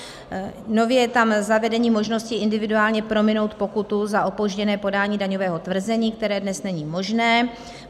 Nově je tam zavedení možnosti individuálně prominout pokutu za opožděné podání daňového tvrzení, které dnes není možné.